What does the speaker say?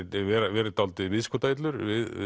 verið dálítið viðskotaillur við